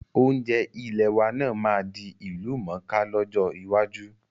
Oúnjẹ ilẹ̀ wa náà máa di ìlú mọ́ ká lọ́jọ́ iwájú